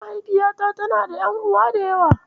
Mahaufiyata tana da ƴan'uwa da yawa.